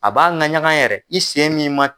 A b'a laɲaga yɛrɛ i sen nin ma